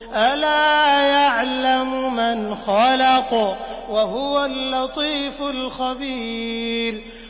أَلَا يَعْلَمُ مَنْ خَلَقَ وَهُوَ اللَّطِيفُ الْخَبِيرُ